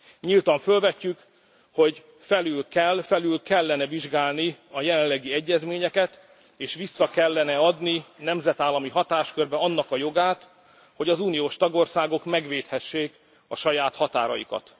Nyíltan fölvetjük, hogy felül kell, felül kellene vizsgálni a jelenlegi egyezményeket, és vissza kellene adni nemzetállami hatáskörbe annak a jogát, hogy az uniós tagországok megvédhessék a saját határaikat.